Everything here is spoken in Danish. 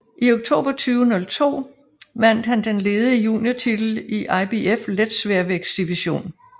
I oktober 2002 vandt han den ledige juniortitl i IBF letsværvægtdivision